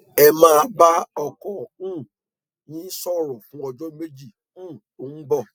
ẹ máa bá ọkọ um yín sọrọ fún ọjọ méjì um tó ń bọ